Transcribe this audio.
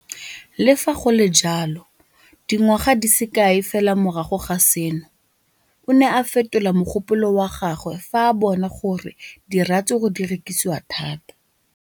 Le fa go le jalo, dingwaga di se kae fela morago ga seno, o ne a fetola mogopolo wa gagwe fa a bona gore diratsuru di rekisiwa thata.